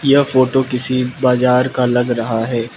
यह फोटो किसी बाजार का लग रहा है।